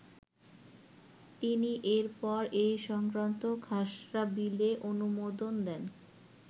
তিনি এর পর এ সংক্রান্ত খসড়া বিলে অনুমোদন দেন।